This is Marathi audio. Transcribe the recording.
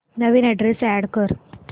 नवीन अॅड्रेस अॅड कर